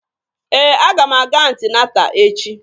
Ee, aga m aga anti-nata echi.